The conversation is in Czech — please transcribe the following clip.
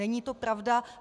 Není to pravda.